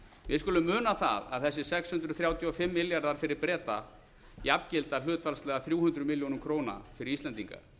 við skulum muna það að þessir sex hundruð þrjátíu og fimm milljarðar fyrir breta jafngilda hlutfallslega þrjú hundruð milljónum króna fyrir íslendinga